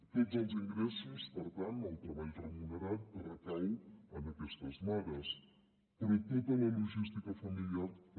tots els ingressos per tant el treball remunerat recau en aquestes mares però tota la logística familiar també